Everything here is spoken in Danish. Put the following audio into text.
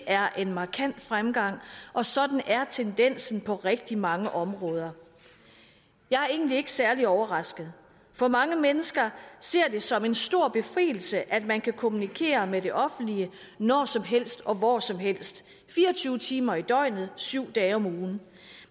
er en markant fremgang og sådan er tendensen på rigtig mange områder jeg er egentlig ikke særlig overrasket for mange mennesker ser det som en stor befrielse at man kan kommunikere med det offentlige når som helst og hvor som helst fire og tyve timer i døgnet syv dage om ugen